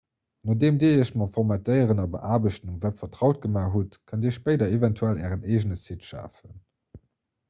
nodeem dir iech mam formatéieren a beaarbechten um web vertraut gemaach hutt kënnt dir spéider eventuell ären eegene website schafen